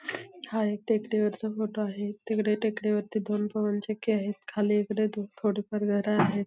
हा एक टेकडी वरचा फोटो आहे तिकडे टेकडी वरती दोन पवन चक्की आहेत खाली इकडे थोडी फार घर आहेत.